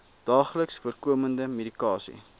daagliks voorkomende medikasie